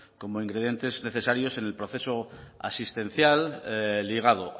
como ingredientes necesarios en el proceso asistencial ligado